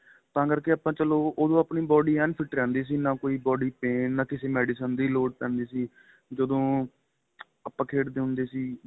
ਤਾਂ ਕਰਕੇ ਆਪਾਂ ਚਲੋ ਉਹਦੋ ਆਪਣੀ body ਐਨ fit ਰਹਿੰਦੀ ਸੀ ਨਾਂ ਕੋਈ body pain ਨਾਂ ਕਿਸੇ medicine ਦੇ ਲੋੜ ਪੈਂਦੀ ਸੀ ਜਦੋ ਖੇਡਦੇ ਹੁੰਦੇ ਸੀ